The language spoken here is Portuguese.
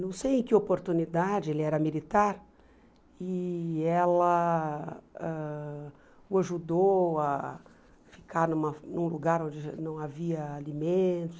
Não sei em que oportunidade, ele era militar, e ela ãh o ajudou a ficar numa num lugar onde não havia alimento.